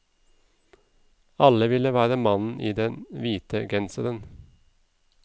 Alle ville være mannen i den hvite genseren.